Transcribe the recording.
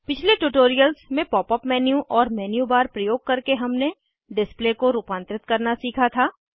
पिछले ट्यूटोरियल्स में pop up menu और मेन्यू बार प्रयोग करके हमने डिस्प्ले को रूपांतरित करना सीखा था